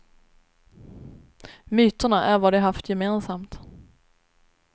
Myterna är vad de haft gemensamt.